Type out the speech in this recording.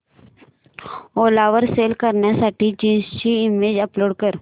ओला वर सेल करण्यासाठी जीन्स ची इमेज अपलोड कर